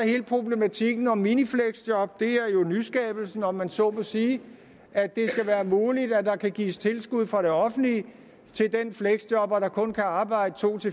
hele problematikken om minifleksjob det er jo nyskabelsen om man så må sige at det skal være muligt at der kan gives tilskud fra det offentlige til den fleksjobber der kun kan arbejde to